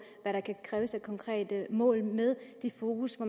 hvad der kan kræves af konkrete mål med fokus på